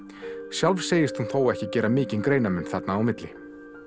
sjálf segist hún þó ekki gera mikinn greinarmun þarna á milli